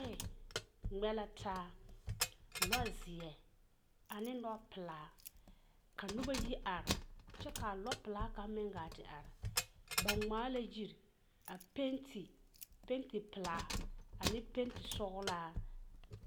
Lͻԑ ŋmԑ la taa. lͻzeԑ ane lͻpelaa. ka noba yi are kyԑ kaa lͻpelaa kaŋa meŋ gaa te are. ba ŋmaa la yiri a penti, penti pelaa ane penti sͻgelaa.